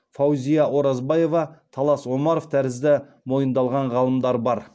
фаузия оразбаева талас омаров тәрізді мойындалған ғалымдар бар